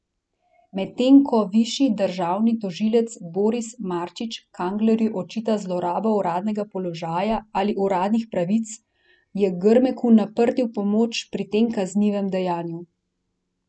Medtem ko višji državni tožilec Boris Marčič Kanglerju očita zlorabo uradnega položaja ali uradnih pravic, je Grmeku naprtil pomoč pri tem kaznivem dejanju.